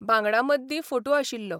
बांगडा मद्दीं फोटू आशिल्लो.